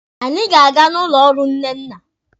Anyị ga-aga n'ụlọ ọrụ Nnenna.